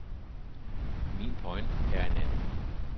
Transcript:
Min pointe er en anden.